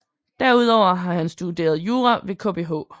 Derudover har han studeret jura ved Kbh